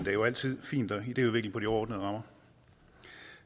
er jo altid fint at idéudvikle på de overordnede rammer